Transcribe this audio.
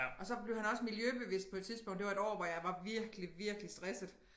Og så blev han også miljøbevidst på et tidspunkt det var et år hvor jeg var virkelig virkelig stresset